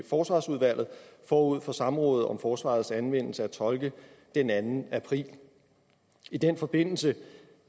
forsvarsudvalget forud for samrådet om forsvarets anvendelse af tolke den anden april i den forbindelse